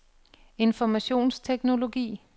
informationsteknologi